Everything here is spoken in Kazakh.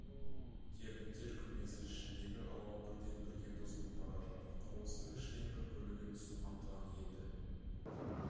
термиттер күмбезі ішіндегі ауа бірден бірге бұзылып бара жатыр құрылыстың үштен бір бөлігін су қамтыған енді